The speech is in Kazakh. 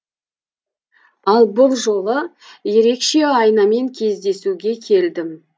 ал бұл жолы ерекше айнамен кездесуге келдім